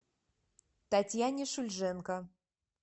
татьяне шульженко